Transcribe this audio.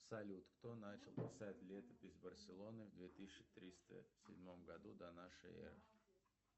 салют кто начал писать летопись барселоны в две тысячи триста седьмом году до нашей эры